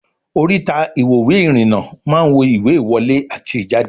Oríta ìwòwé ìrìn-nà máa ń wo ìwé ìwọlé àti ìjáde